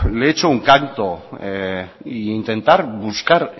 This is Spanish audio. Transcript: le echo un canto e intentar